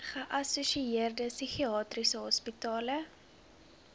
geassosieerde psigiatriese hospitale